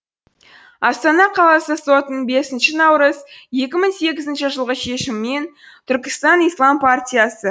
астана қаласы сотының бесінші наурыз екі мың сегізінші жылғы шешімімен бір түркістан ислам партиясы